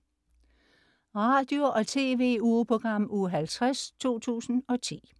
Radio- og TV-ugeprogram Uge 50, 2010